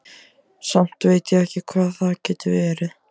Samt veit ég ekki hvað það getur verið.